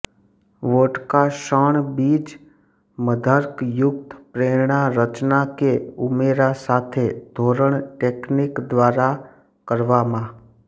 vodka શણ બીજ મદ્યાર્ક યુક્ત પ્રેરણા રચના કે ઉમેરા સાથે ધોરણ ટેકનિક દ્વારા કરવામાં